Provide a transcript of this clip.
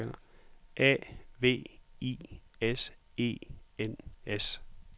A V I S E N S